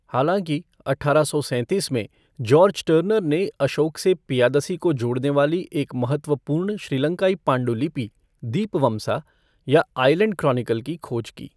हालांकि, अठारह सौ सैंतीस में, जॉर्ज टर्नर ने अशोक से पियादसी को जोड़ने वाली एक महत्वपूर्ण श्रीलंकाई पांडुलिपि, दीपवमसा, या 'आइलेंड क्रॉनिकल' की खोज की।